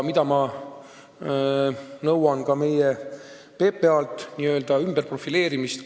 Ma nõuan ka meie PPA-lt n-ö ümberprofileerimist.